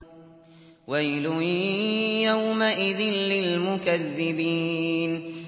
وَيْلٌ يَوْمَئِذٍ لِّلْمُكَذِّبِينَ